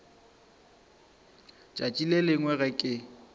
tšatši le lengwe ge ke